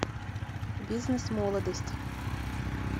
бизнес молодость